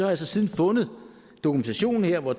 har så siden fundet dokumentationen her hvor